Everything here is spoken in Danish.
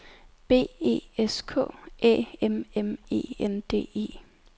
B E S K Æ M M E N D E